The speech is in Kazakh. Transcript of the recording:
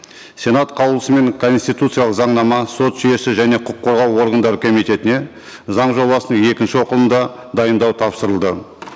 сенат қаулысымен конституциялық заңнама сот жүйесі және құқық қорғау органдары комитетіне заң жобасының екінші оқылымда дайындау тапсырылды